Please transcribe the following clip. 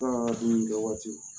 dumunikɛ waati